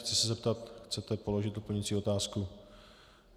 Chci se zeptat - chcete položit doplňující otázku?